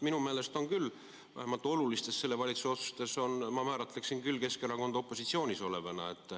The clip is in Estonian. Mina määratleksin küll, vähemalt oluliste selle valitsuse otsuste puhul, Keskerakonda opositsioonis olevana.